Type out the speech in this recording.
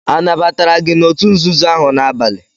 Anabatara gị n'òtù nzuzo ahụ n'abalị?